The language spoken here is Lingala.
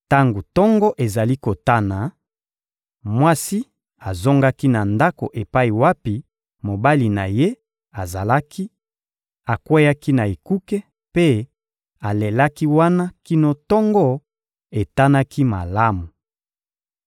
Tango tongo ezali kotana, mwasi azongaki na ndako epai wapi mobali na ye azalaki, akweyaki na ekuke mpe alelaki wana kino tongo etanaki malamu.